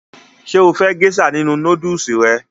Ṣé o fẹ́ gésà nínu nódùsù rẹ?